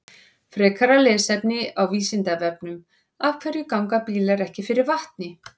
Frekara lesefni á Vísindavefnum: Af hverju ganga bílar ekki fyrir vatni?